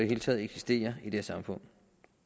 hele taget eksistere i det her samfund